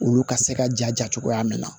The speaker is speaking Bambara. Olu ka se ka ja cogoya min na